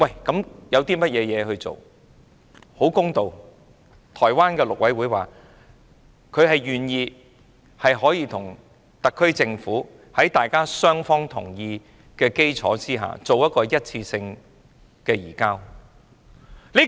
公道說句，台灣陸委會亦表示願意與特區政府在雙方同意的基礎上作一次性移交。